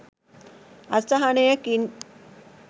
අසහනයකින්